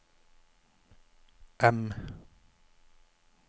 M